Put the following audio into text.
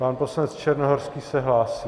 Pan poslanec Černohorský se hlásí.